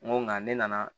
N ko nka ne nana